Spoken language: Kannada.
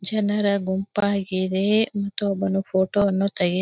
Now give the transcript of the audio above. ಜನರ ಗುಂಪಾಗಿದೆ ಮತೊಬ್ಬನು ಫೋಟೋವನ್ನು ತೆಗಿತ್ತಾಯಿದ್ದಾನೆ. --